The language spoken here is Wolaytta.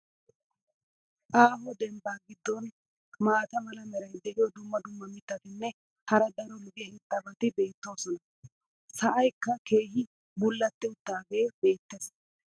Aaho dembbaa giddon maata mala meray diyo dumma dumma mitatinne hara daro lo'iya irxxabati beetoosona. sa"aykka keehi bulatti utaagee beetees.